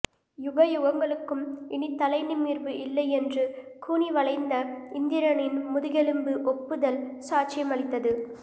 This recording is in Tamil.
யுகயுகங்களுக்கும் இனி தலைநிமிர்வு இல்லை என்று கூனிவளைந்த இந்திரனின் முதுகெலும்பு ஒப்புதல் சாட்சியம் அளித்தது